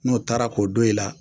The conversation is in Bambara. N'o tara k'o don i la